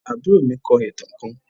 Àbúrò mi kọ ìtàn kán